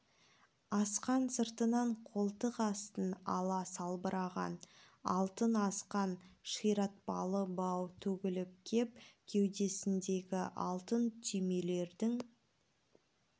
асқан сыртынан қолтық астын ала салбыраған алтын асқан ширатпалы бау төгіліп кеп кеудесіндегі алтын түймелердің